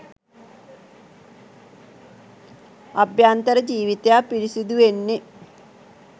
අභ්‍යන්තර ජීවිතයක් පිරිසිදු වෙන්නෙ